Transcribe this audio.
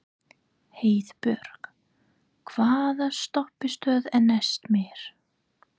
Heiðbjörg, hvaða stoppistöð er næst mér?